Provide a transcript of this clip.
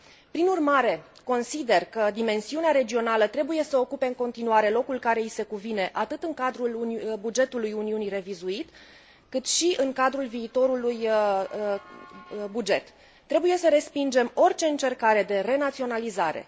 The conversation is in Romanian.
Prin urmare, consider că dimensiunea regională trebuie să ocupe în continuare locul care i se cuvine atât în cadrul bugetului Uniunii revizuit, cât și în cadrul viitorului buget Trebuie să respingem orice încercare de renaționalizare.